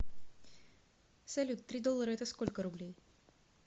салют три доллара это сколько рублей